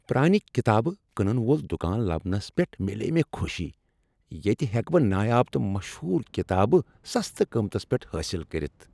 پرانِہ کتاب کٕنن وۄل دکان لبنس پٮ۪ٹھ میلیے مےٚ خوشی ۔ ییتِہ ہیکہٕ بہٕ نایاب تہٕ مشہور کتابہٕ سستہٕ قۭمتس پٮ۪ٹھ حٲصل کٔرِتھ ۔